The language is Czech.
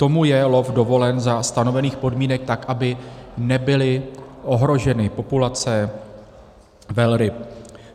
Tomu je lov dovolen za stanovených podmínek tak, aby nebyly ohroženy populace velryb.